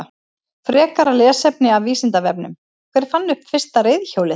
Frekara lesefni af Vísindavefnum: Hver fann upp fyrsta reiðhjólið?